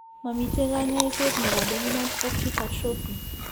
Mamiten kaany'ayso ne po dominant optic atrophy .